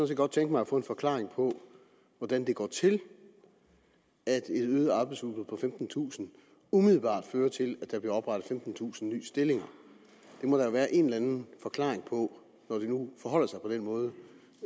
set godt tænke mig at få en forklaring på hvordan det går til at et øget arbejdsudbud på femtentusind umiddelbart fører til at der bliver oprettet femtentusind nye stillinger det må der jo være en eller anden forklaring på når det nu forholder sig på den måde